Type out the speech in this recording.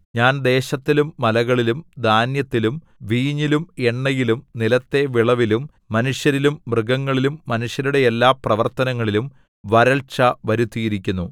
ഞാൻ ദേശത്തിലും മലകളിലും ധാന്യത്തിലും വീഞ്ഞിലും എണ്ണയിലും നിലത്തെ വിളവിലും മനുഷ്യരിലും മൃഗങ്ങളിലും മനുഷ്യരുടെ എല്ലാ പ്രവർത്തനങ്ങളിലും വരൾച്ച വരുത്തിയിരിക്കുന്നു